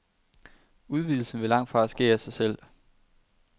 Udvidelsen vil langtfra ske af sig selv.